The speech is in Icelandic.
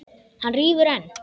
Hann rífur enn.